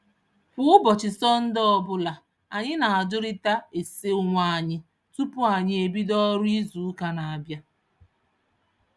Kwa ụbọchị Sọnde ọbụla, anyị na-ajụrịta ase onwe anyị tupu anyị ebido ọrụ izuụka n'abịa